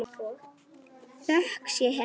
Þökk sé henni.